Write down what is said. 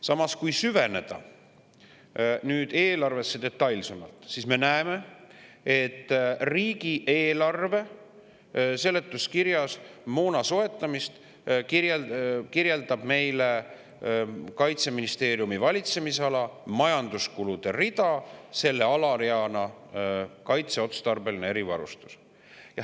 Samas, kui me nüüd süveneme eelarvesse detailsemalt, siis näeme, et riigieelarve seletuskirjas moona soetamist kirjeldab meile Kaitseministeeriumi valitsemisala majanduskulude rida selle alareana "Kaitseotstarbeline erivarustus".